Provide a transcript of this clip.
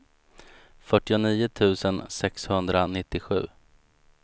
fyrtionio tusen sexhundranittiosju